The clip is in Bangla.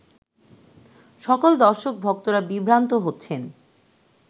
সকল দর্শক-ভক্তরা বিভ্রান্ত হচ্ছেন